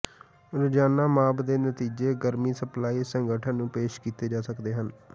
ਰੋਜ਼ਾਨਾ ਮਾਪ ਦੇ ਨਤੀਜੇ ਗਰਮੀ ਸਪਲਾਈ ਸੰਗਠਨ ਨੂੰ ਪੇਸ਼ ਕੀਤੇ ਜਾ ਸਕਦੇ ਹਨ